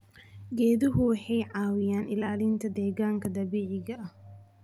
Geeduhu waxay caawiyaan ilaalinta deegaanka dabiiciga ah.